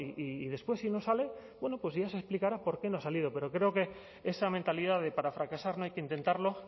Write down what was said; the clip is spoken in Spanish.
y después si no sale ya se explicará por qué no ha salido pero creo que esa mentalidad de para fracasar no hay que intentarlo